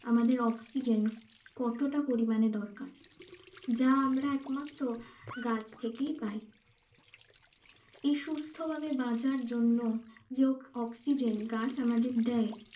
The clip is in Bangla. আমাদের oxygen কতটা পরিমানে দরকার যা আমরা একমাত্র গাছ থেকেই পাই এই সুস্থ ভাবে বাঁচার জন্য oxygen গাছে আমাদের দেয়